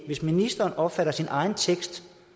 hvis ministeren opfatter sin egen tekst